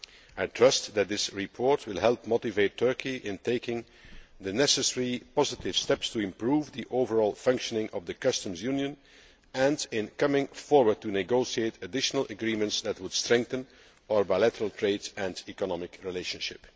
I trust that this report will help motivate Turkey to take the necessary positive steps to improve the overall functioning of the customs union and to come forward to negotiate additional agreements that would strengthen our bilateral trade and economic relationship.